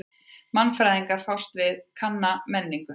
Mannfræðingar fást við kanna menningu.